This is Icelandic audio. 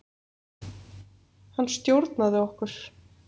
Hann stjórnaði okkur.